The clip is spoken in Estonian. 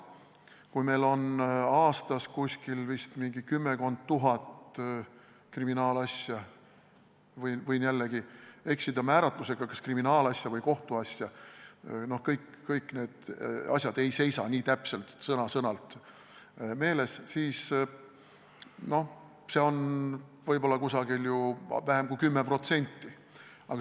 Kui meil on aastas mingi kümmekond tuhat kriminaalasja – võin jällegi eksida määratlusega, kas kriminaalasja või kohtuasja, kõik need asjad ei seisa täpselt, sõna-sõnalt meeles –, siis see teeb vähem kui 10%.